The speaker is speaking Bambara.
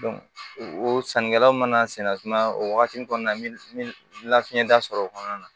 o sannikɛlaw mana sɛnɛ tuma o wagati kɔnɔna na fiɲɛ da sɔrɔ o kɔnɔna na